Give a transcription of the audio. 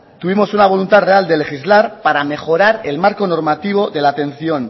tuvimos una voluntad real de legislar para mejorar el marco normativo de la atención